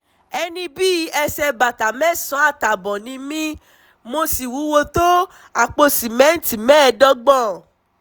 ẹni bí ẹsẹ̀ bàtà mẹ́sàn-án àtààbọ̀ ni mí mo sì wúwo tó àpò sìmẹ́ǹtì mẹ́ẹ̀ẹ́dọ́gbọ̀n